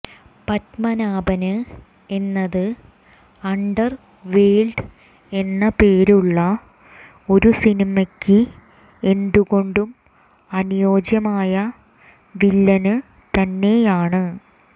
പത്മനാഭന് എന്നത് underworld എന്ന പേരുള്ള ഒരു സിനിമയ്ക്ക് എന്തുകൊണ്ടും അനുയോജ്യമായ വില്ലന് തന്നെയാണ്